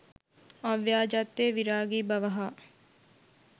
අව්‍යාජත්වය, විරාගී බව හා